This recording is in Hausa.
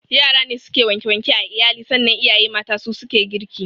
Yara ne suke wanke wanke a iyali sannan iyaye mata su suke girki